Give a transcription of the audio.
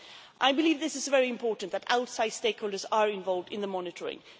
I believe it is very important that outside stakeholders are involved in the monitoring.